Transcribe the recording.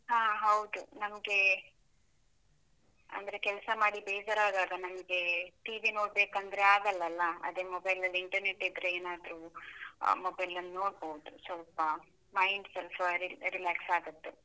ಹಾ ಹೌದು, ನಮ್ಗೆ ಅಂದ್ರೆ ಕೆಲ್ಸ ಮಾಡಿ ಬೇಜಾರಾದಾಗ ನಮ್ಗೆ, TV ನೋಡ್ಬೇಕಂದ್ರೆ ಆಗಲ್ಲಲ್ಲ? ಅದೇ mobile ನಲ್ಲಿ internet ಇದ್ರೆ ಏನಾದ್ರೂ, mobile ನೋಡ್ಬೋದು ಸ್ವಲ್ಪ mind ಸ್ವಲ್ಪ relax ಆಗತ್ತೆ.